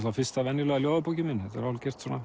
fyrsta venjulega ljóðabókin mín þetta er hálfgert svona